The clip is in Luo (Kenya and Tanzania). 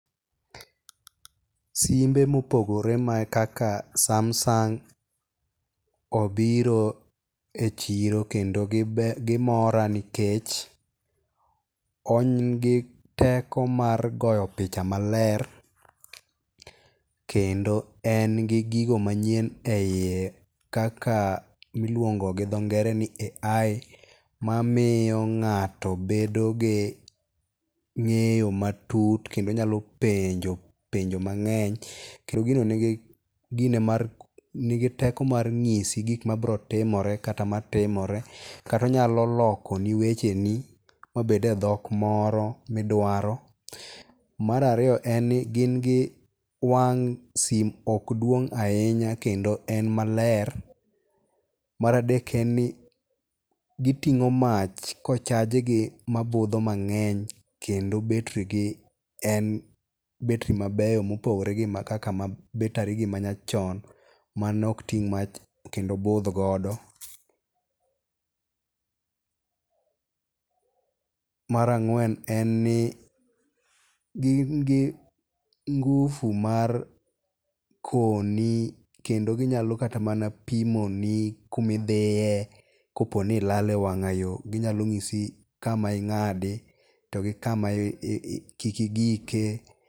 Simbe mopogore ma kaka Samsung obiro e chiro kendo gimora nikech en giteko mar goyo picha maler kendo en gi gigo manyien e yie kaka miluongo gi dho ngere ni AI mamiyo ng'ato bedo gi ng'eyo matut kendo nyalo penjo penjo mang'eny. Kendo gino nigi teko mar nyisi gigo ma birotimeore kata matimore. Kata onyalo loko ni wecheni ma bed e dhok moro midwaro. Mar ariyo en ni gin gi wang' sim ok dwong' ahinya kendo en maler. Mar adek en ni giting'o mach kochaj gi mabudho mang'eny kendo betri gi en betri mabeyo mopogore gi kaka betri ma nyachon manok ting' mach kendo budh godo. Mar ang'wen en ni gin gi ngufu mar koni kendo ginyalo kata mana pimoni kumo dhiye kopo ni ilal e wang'ayo ginyalo nyisi kama ing'adi to gi kama kik igike.